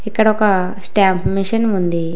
ఇక్కడ ఒక stamp machine ఉంది.